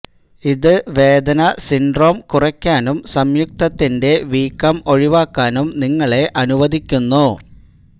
ഇത് വേദന സിൻഡ്രോം കുറയ്ക്കാനും സംയുക്തത്തിന്റെ വീക്കം ഒഴിവാക്കാനും നിങ്ങളെ അനുവദിക്കുന്നു